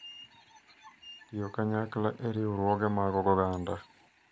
Tiyo kanyakla e riwruoge mag oganda.